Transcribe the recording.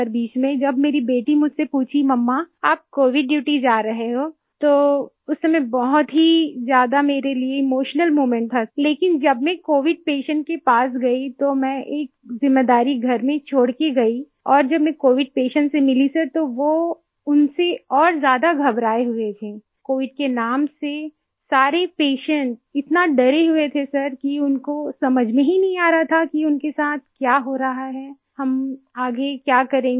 बीच में जब मेरी बेटी मुझसे पूछी मुम्मा आप कोविड ड्यूटी जा रहे हो तो उस समय बहुत ही ज्यादा मेरे लिए इमोशनल मोमेंट था लेकिन जब मैं कोविड पेशेंट के पास गयी तो मैं एक जिम्मेदारी घर में छोड़ कर गई और जब मैं कोविड पेशेंट से मिली सर तो वो उनसे और ज्यादा घबराये हुए थे कोविड के नाम से सारे पेशेंट इतना डरे हुए थे सर कि उनको समझ में ही नहीं आ रहा था कि उनके साथ क्या हो रहा है हम आगे क्या करेंगे